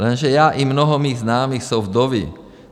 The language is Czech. Jenže já i mnoho mých známých jsou vdovy.